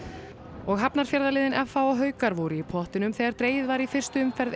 og f h og haukar voru í pottinum þegar dregið var í fyrstu umferð